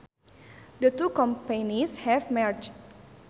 The two companies have merged